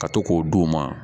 Ka to k'o d'u ma